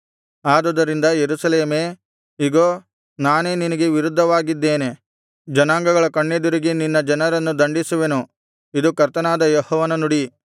ಆದುದರಿಂದ ಯೆರೂಸಲೇಮೇ ಇಗೋ ನಾನೇ ನಿನಗೆ ವಿರುದ್ಧವಾಗಿದ್ದೇನೆ ಜನಾಂಗಗಳ ಕಣ್ಣೆದುರಿಗೆ ನಿನ್ನ ಜನರನ್ನು ದಂಡಿಸುವೆನು ಇದು ಕರ್ತನಾದ ಯೆಹೋವನ ನುಡಿ